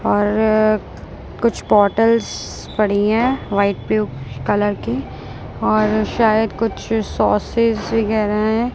और कुछ बॉटल्स पड़ी है वाइट ब्लू कलर की और शायद कुछ सॉसेस वगैरा है।